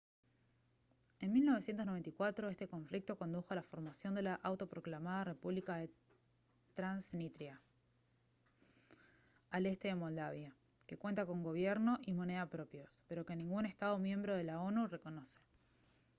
en 1994 este conflicto condujo a la formación de la autoproclamada república de transnistria al este de moldavia que cuenta con gobierno y moneda propios pero que ningún estado miembro de la onu reconoce